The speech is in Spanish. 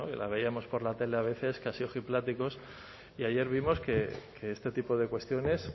la veíamos por la tele a veces casi ojipláticos y ayer vimos que este tipo de cuestiones